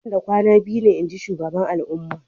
Nan da kwana biyu ne, inji shugaban al'umma.